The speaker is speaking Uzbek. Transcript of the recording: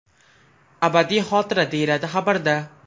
Abadiy xotira”, – deyiladi xabarda.